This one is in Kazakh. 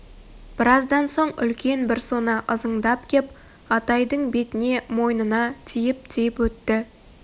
біраздан соң үлкен бір сона ызыңдап кеп атайдын бетіне мойнына тиіп-тиіп өтті